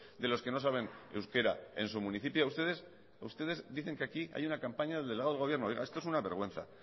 de los que no saben euskera en su municipio ustedes dicen que aquí hay una campaña del delegado del gobierno esto es una vergüenza